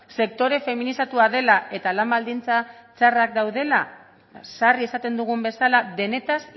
sektore feminizatua dela eta lan baldintza txarrak daudela sarri esaten dugun bezala denetaz